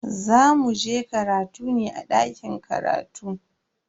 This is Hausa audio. Za muje karatu ne a dakin karatu.